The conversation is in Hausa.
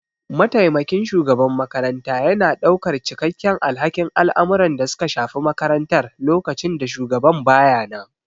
Mataimakin shugaban makaranta yana ɗaukar cikakken alhakin al'amuran da suka shafi makarantar lokacin da shugaban ba ya nan.